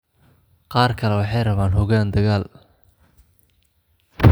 Qaar kale waxay rabaan hoggaan dagaal.